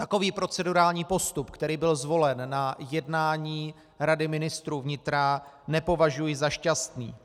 Takový procedurální postup, který byl zvolen na jednání Rady ministrů vnitra, nepovažuji za šťastný.